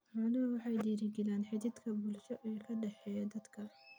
Xooluhu waxay dhiirigeliyaan xidhiidhka bulsho ee ka dhexeeya dadka.